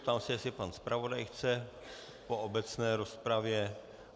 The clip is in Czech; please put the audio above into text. Ptám se, jestli pan zpravodaj chce po obecné rozpravě.